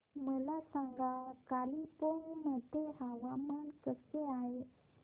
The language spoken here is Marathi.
मला सांगा कालिंपोंग मध्ये हवामान कसे आहे